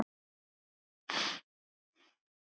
Hverjir munu skipa hana?